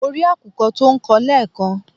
Mo rí àkùkọ tó ń kọ lẹ́ẹ̀kan